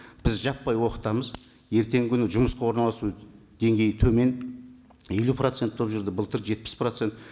біз жаппай оқытамыз ертеңгі күні жұмысқа орналасу деңгейі төмен елу процент болып жүрді былтыр жетпіс процент